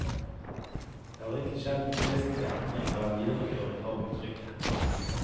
Det har ikke skjedd noen vesentlig endring eller videreføring av uttrykket.